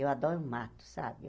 Eu adoro o mato, sabe?